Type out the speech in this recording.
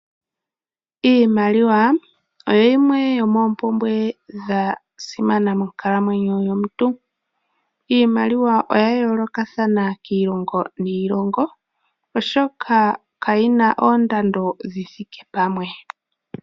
Iimaliwa oyo yimwa yomoompumbwe dhasimana monkalamwenyo yomuntu. Iimaliwa oya yoolokathana kiilongo niilongo oshoka kayina oondando dhithike pamwe.